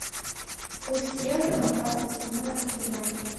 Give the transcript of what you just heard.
курс евро на двадцать седьмое октября